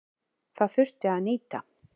Það þurfi að nýta.